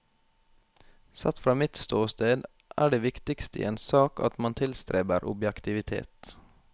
Sett fra mitt ståsted er det viktigste i en sak at man tilstreber objektivitet.